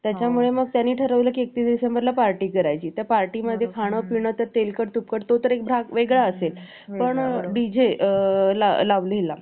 आता नाथ महाराज यांचे कार्य वाढले होते. आता नाथ महाराज भगवंत लिहिण्याचे काम सुरु केले. संतांचा वियोग हे जीवनातील सगळ्यात वाईट गोष्ट आहे. संतांचा वियोग नाथ महाराज,